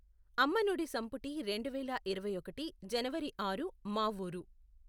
అమ్మనుడి సంపుటి రెండువేల ఇరవై ఒకటి జనవరి ఆరు మా ఊరు